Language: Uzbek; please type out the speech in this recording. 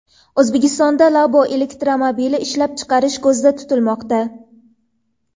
O‘zbekistonda Labo elektromobili ishlab chiqarish ko‘zda tutilmoqda.